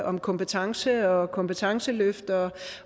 om kompetencer og kompetenceløft